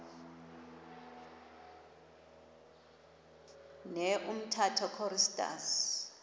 ne umtata choristers